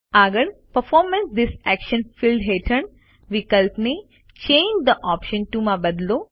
આગળ પરફોર્મ ઠેસે actions field હેઠળ વિકલ્પને ચાંગે થે ઓપ્શન ટીઓ માં બદલો